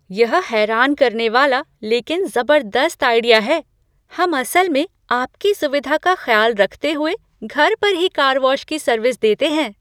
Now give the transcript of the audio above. यह हैरान करने वाला, लेकिन ज़बरदस्त आइडिया है! हम असल में आपकी सुविधा का ख्याल रखते हुए घर पर ही कार वॉश की सर्विस देते हैं।